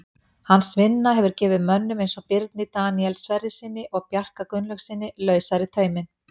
Hans vinna hefur gefið mönnum eins og Birni Daníel Sverrissyni og Bjarka Gunnlaugssyni lausari tauminn.